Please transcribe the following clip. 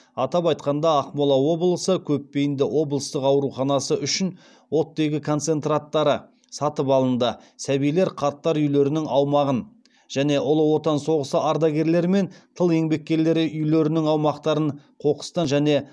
атап айтқанда ақмола облысы көпбейінді облыстық ауруханасы үшін оттегі концентраттары сатып алынды сәбилер қарттар үйлерінің аумағын және ұлы отан соғысы ардагерлері мен тыл еңбеккерлері үйлерінің аумақтарын қоқыстан және